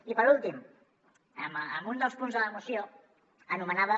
i per últim un dels punts de la moció anomenava